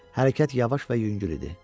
Hərəkət yavaş və yüngül idi.